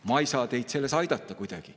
Ma ei saa teid selles kuidagi aidata.